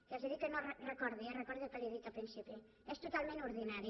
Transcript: que els he dit que no recordi ho eh recordi el que li he dit al principi és totalment ordinari